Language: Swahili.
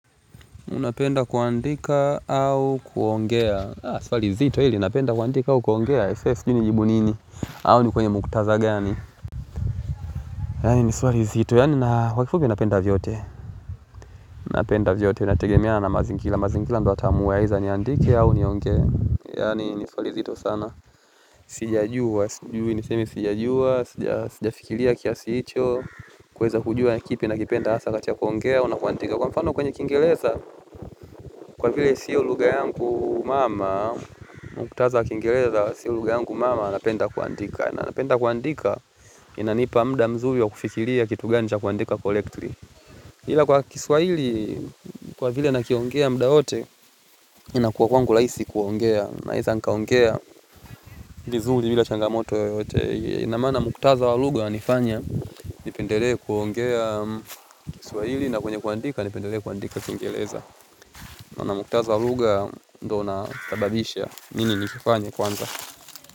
Unapenda kuandika au kuongea, swali nzito hili napenda kuandika au kuongea aisee sijui nijibu nini au ni kwenye mukhtatha gani yaani ni swali zito. Yaani kwa kifupi napenda vyote. Napenda vyote. Inategemea na mazingira. Mazingira ndio yataamua aidha niandike au niongee. Yaani ni swali zito sana. Sijajua. Niseme sijajua. Sijafikiria kiasi hicho. Kuweza kujua ni kipi nakipenda hasa katika kuongea au na kuandika. Kwa mfano kwenye Kiingereza. Kwa vile sio lugha yangu mama, mkutatha wa Kiingereza, sio lugha yangu mama napenda kuandika. Na napenda kuandika, inanipa muda mzuri wa kufikiria kitu gani cha kuandika correctly. Hila kwa kiswaili, kwa vile nakiongea muda wote, inakuwa kwangu rahisi kuongea. Naeza nikaongea vizuri bila changamoto yoyote. Na maana mkutatha wa lugha wanifanya, nipendelee kuongea Kiswahili na kwenye kuandika, nipendelee kuandika Kiingereza. Na na mkutatha wa lugha ndio unasababisha mimi nikifanye kwanza.